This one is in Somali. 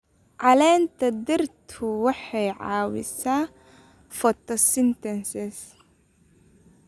Caleenta dhirtu waxay caawisaa photosynthesis.